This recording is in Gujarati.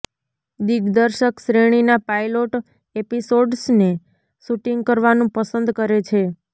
દિગ્દર્શક શ્રેણીના પાઇલોટ એપિસોડ્સને શૂટિંગ કરવાનું પસંદ કરે છે